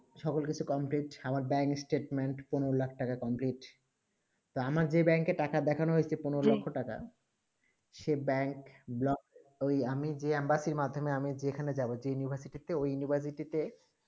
সকল কিছু complete আমার dying statement পনেরো লাখ টাকা complete আমার যেই ব্যাংক এ টাকা দেখানো হয়েছে পনেরো লাখ টাকা সেই ব্যাংক ঐই আমি যে embassy মাধ্যমেই আমি যেখানে যাবো যেই university তে ঐই university তে